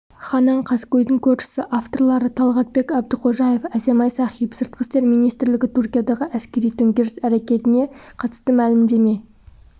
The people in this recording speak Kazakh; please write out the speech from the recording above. ханан қаскөйдің көршісі авторлары талғатбек әбдіқожаев әсемай сахип сыртқы істер министрлігі түркиядағы әскери төңкеріс әрекетіне қатыстымәлімдеме